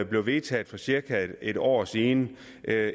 blev vedtaget for cirka en år siden